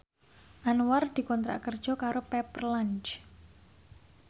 Anwar dikontrak kerja karo Pepper Lunch